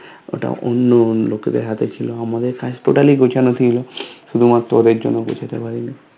ওটা অন্য অন্য লোকেদের হাত এ ছিল আমাদের কাজ Totally গোছানো ছিল শুধুমাত্র ওদের জন্যে গোছাতে পারিনি